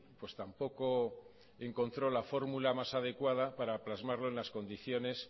pues tampoco encontró la fórmula más adecuada para plasmarlo en las condiciones